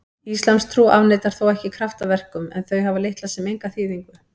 Íslamstrú afneitar þó ekki kraftaverkum en þau hafa litla sem enga þýðingu.